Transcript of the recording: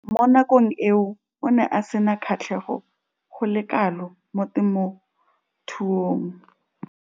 Mo nakong eo o ne a sena kgatlhego go le kalo mo temothuong.